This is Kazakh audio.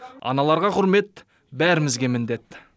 аналарға құрмет бәрімізге міндет